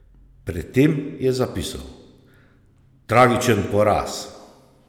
Pred tem je zapisal:"Tragičen poraz.